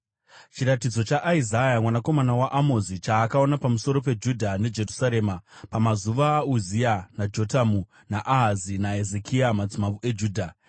Chiratidzo chaIsaya mwanakomana waAmozi, chaakaona pamusoro peJudha neJerusarema pamazuva aUzia naJotamu, naAhazi naHezekia, madzimambo eJudha.